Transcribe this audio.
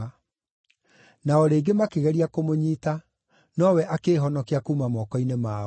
Na o rĩngĩ makĩgeria kũmũnyiita, nowe akĩĩhonokia kuuma moko-inĩ mao.